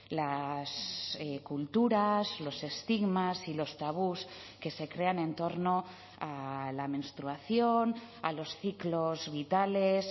las culturas los estigmas y los tabús que se crean en torno a la menstruación a los ciclos vitales